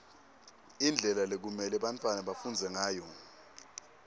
indlela lekumelwe bantfwana bafundze ngayo